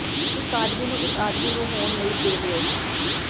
ਇੱਕ ਆਦਮੀ ਨੂੰ ਇੱਕ ਆਦਮੀ ਨੂੰ ਹੋਣ ਲਈ ਦੇ ਦਿਓ